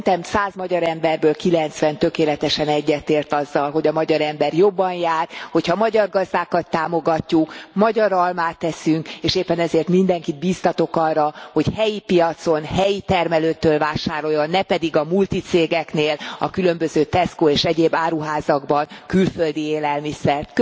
Szerintem 100 magyar emberből 90 tökéletesen egyetért azzal, hogy a magyar ember jobban jár, hogyha a magyar gazdákat támogatjuk, magyar almákat eszünk, és éppen ezért mindenkit biztatok arra, hogy helyi piacon, helyi termelőtől vásároljon, ne pedig a multicégeknél a különböző Tesco és egyéb áruházakban külföldi élelmiszert.